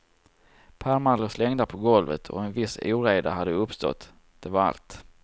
Pärmar låg slängda på golvet och en viss oreda hade uppstått, det var allt.